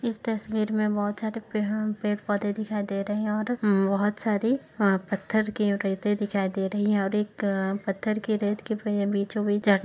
इस तस्वीर में बहोत सारे पेड़ पेड़ पौधे दिखाई दे रहे हैं और बहोत सारी वहाँ पत्थर की रेत दिखाई दे रही है और एक अ पत्थर की रेत के बीचों बीच जा --